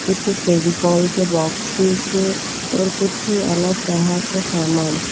कुछ फेविकोल के बॉक्सेस और कुछ अलग तरह के समान--